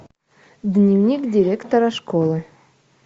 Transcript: дневник директора школы